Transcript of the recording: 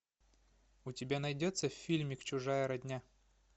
у тебя найдется фильмик чужая родня